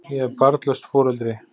Ég er barnlaust foreldri.